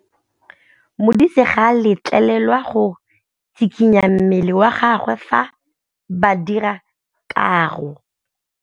Modise ga a letlelelwa go tshikinya mmele wa gagwe fa ba dira karô.